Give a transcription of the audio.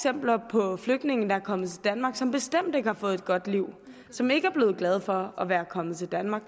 på flygtninge der er kommet til danmark som bestemt ikke har fået et godt liv som ikke er blevet glade for at være kommet til danmark